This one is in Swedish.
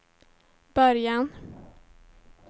början